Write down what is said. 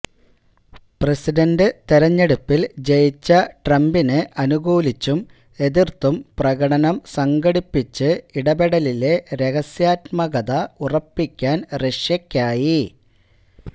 president തിരഞ്ഞെടുപ്പിൽ ജയിച്ച ട്രംപിന് അനുകൂലിച്ചും എതിർത്തും പ്രകടനം സംഘടിപ്പിച്ച് ഇടപെടലിലെ രഹസ്യാത്മകത ഉറപ്പിക്കാൻ റഷ്യയ്ക്കായി